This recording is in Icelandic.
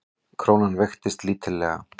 Krónan veiktist lítillega